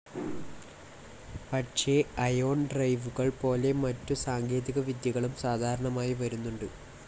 പക്ഷേ അയോൺ ഡ്രൈവുകൾ പോലെ മറ്റു സാങ്കേതികവിദ്യകളും സാധാരണമായി വരുന്നുണ്ട്.